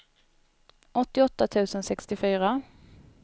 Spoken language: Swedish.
åttioåtta tusen sextiofyra